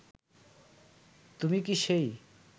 তুমি কি সেই